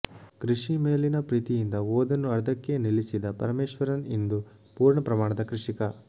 ಕೃಷಿ ಮೇಲಿನ ಪ್ರೀತಿಯಿಂದ ಓದನ್ನು ಅರ್ಧಕ್ಕೇ ನಿಲ್ಲಿಸಿದ ಪರಮೇಶ್ವರನ್ ಇಂದು ಪೂರ್ಣ ಪ್ರಮಾಣದ ಕೃಷಿಕ